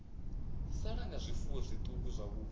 sala nga zwifuwo zwiṱuku zwavhuḓi